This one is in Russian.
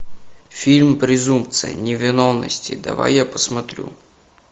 фильм презумпция невиновности давай я посмотрю